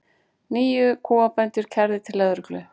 Níu kúabændur kærðir til lögreglu